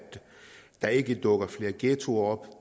der ikke dukker flere ghettoer op